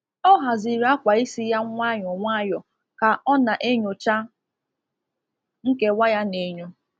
Ọ haziri akwa isi ya nwayọ nwayọ ka o na-enyocha nkewa ya n’enyo.